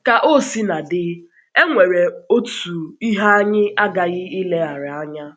Ka o sina dị, e nwere otu ihe anyị aghaghị ileghara anya.